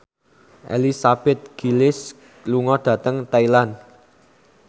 Elizabeth Gillies lunga dhateng Thailand